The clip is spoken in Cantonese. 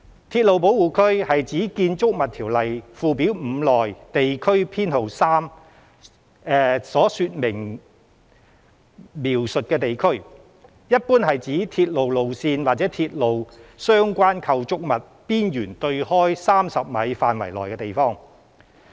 鐵路保護區是指《條例》附表5內地區編號3的說明所描述的地區，一般是指由鐵路路線或鐵路相關構築物邊緣對開30米範圍內的地方。